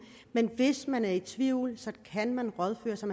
men hvis man er i tvivl kan man rådføre sig